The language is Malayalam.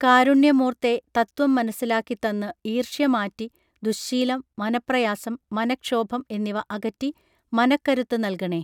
കാരുണ്യമൂർത്തേ തത്ത്വം മനസ്സിലാക്കി തന്ന് ഈർഷ്യ മാറ്റി ദുഃശീലം മനഃപ്രയാസം മനഃക്ഷോഭം എന്നിവ അകറ്റി മനഃക്കരുത്ത് നല്കണേ